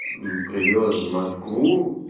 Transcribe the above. мм привёз в москву